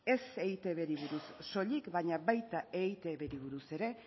ez eitbri buruz soilik baina baita eitbri buruz ere